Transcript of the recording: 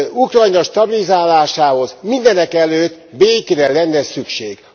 Ukrajna stabilizálásához mindenekelőtt békére lenne szükség.